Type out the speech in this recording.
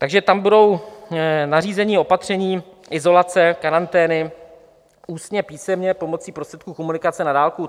Takže tam budou nařízení, opatření, izolace, karantény, ústně, písemně pomocí prostředků komunikace na dálku.